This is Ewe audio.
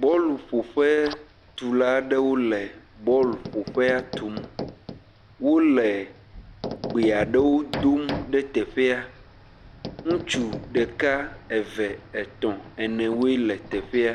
Bɔluƒoƒetula ɖewo le bɔluƒoƒea tum, wole gbe aɖewo dom ɖe yeyea, ŋutsu ɖeka Eʋv etɔ̃ene woe le teƒea,